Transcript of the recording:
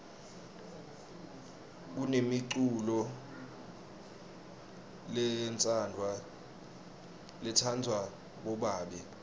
kunemiculolo letsanvwa bobabe